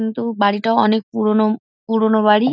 উম তো বাড়িটাও অনেক পুরোনো পুরোনো বাড়ি ।